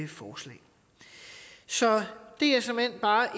forslag så det er såmænd bare